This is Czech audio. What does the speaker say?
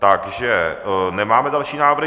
Takže nemáme další návrhy.